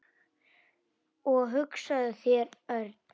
Og hugsaðu þér, Örn.